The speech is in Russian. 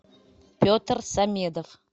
петр самедов